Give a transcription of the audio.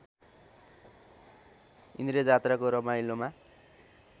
इन्द्रजात्राको रमाइलोमा